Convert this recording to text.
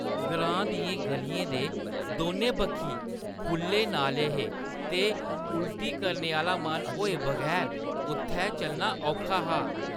ग्रांऽ दियें ग'लियें दे दौनें बक्खी खु'ल्ले नाले हे ते उल्टी करने आह्‌ला मन होए बगैर उत्थै चलना औखा हा।